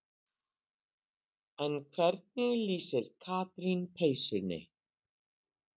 En hvernig lýsir Katrín peysunni?